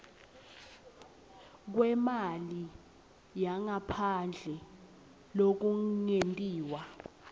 kwemali yangaphandle lokungetiwe